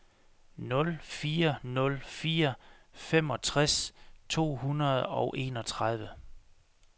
nul fire nul fire femogtres to hundrede og enogtredive